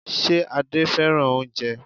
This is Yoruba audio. Ṣe Adé fẹ́ràn oúnjẹ?